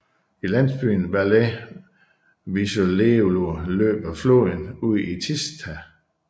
I landsbyen Valea Vișeului løber floden ud i Tisza